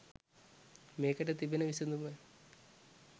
මේකට තිබෙන විසඳුම